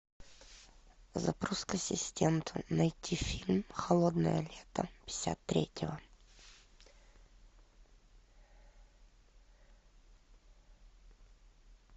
запрос к ассистенту найти фильм холодное лето пятьдесят третьего